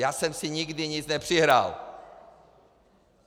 Já jsem si nikdy nic nepřihrál!